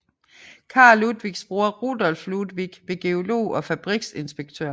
Carl Ludwigs bror Rudolph Ludwig blev geolog og fabriksinspektør